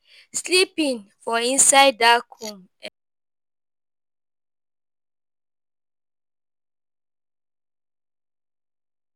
Sleeping for inside dark room um